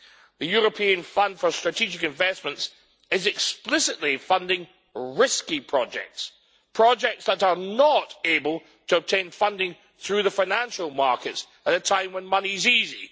The European Fund for Strategic Investments is explicitly funding risky projects, projects that are not able to obtain funding through the financial markets at a time when money is easy.